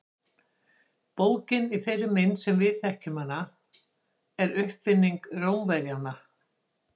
Bókin í þeirri mynd sem við þekkjum hana er uppfinning Rómverjanna.